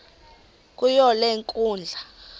kuyo le nkundla